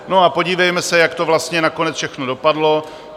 No a podívejme se, jak to vlastně nakonec všechno dopadlo.